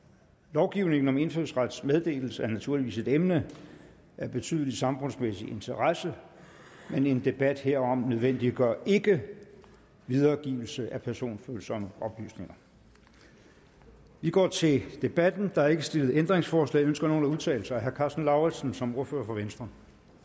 lovgivningen om indfødsrets meddelelse er naturligvis et emne af betydelig samfundsmæssig interesse men en debat herom nødvendiggør ikke videregivelse af personfølsomme oplysninger vi går til debatten der er ikke stillet ændringsforslag ønsker nogen at udtale sig herre karsten lauritzen som ordfører for venstre